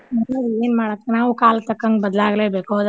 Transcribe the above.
ಅದರೀ ಏನ್ ಮಾಡಾದ್ ನಾವು ಕಾಲಕ್ ತಕ್ಕಂಗ ಬದ್ಲಾಗ್ಲೇ ಬೇಕು ಹೌದಾಲ್ರೀ?